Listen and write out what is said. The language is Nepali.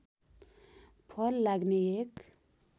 फल लाग्ने एक